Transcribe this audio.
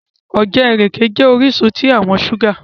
Òjẹ̀ irẹke̩ jẹ́ oriṣun tí àwọn ṣúgà.